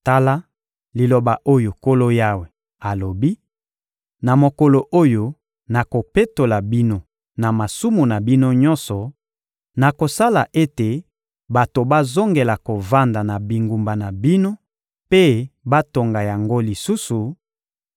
Tala liloba oyo Nkolo Yawe alobi: Na mokolo oyo nakopetola bino na masumu na bino nyonso, nakosala ete bato bazongela kovanda na bingumba na bino mpe batonga yango lisusu;